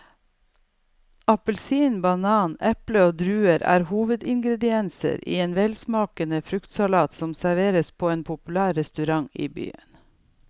Appelsin, banan, eple og druer er hovedingredienser i en velsmakende fruktsalat som serveres på en populær restaurant i byen.